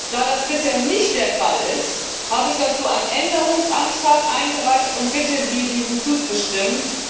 Da das bisher nicht der Fall ist, habe ich dazu einen Änderungsantrag eingereicht und bitte Sie, diesem zuzustimmen.